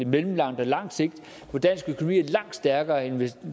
mellemlang og lang sigt hvor dansk økonomi er langt stærkere end